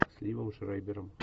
с ливом шрайдером